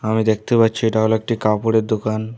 আমি দেখতে পাচ্ছি এটা হল একটি কাপড়ের দোকান।